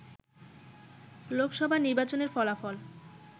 লোকসভা নির্বাচনের ফলাফল